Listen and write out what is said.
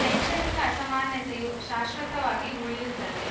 ಶೈಕ್ಷಣಿಕ ಅಸಮಾನತೆಯು ಶಾಶ್ವತವಾಗಿ ಉಳಿಯುತ್ತದೆ